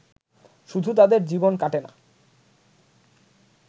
শুধু তাঁদের জীবন কাটে না